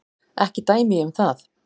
Ekki dæmi ég um það.